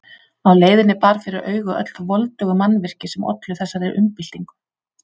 Á leiðinni bar fyrir augu öll þau voldugu mannvirki sem ollu þessari umbyltingu.